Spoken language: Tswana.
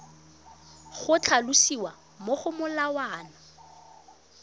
go tlhalosiwa mo go molawana